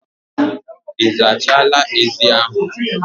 Ị zachala ezi ahụ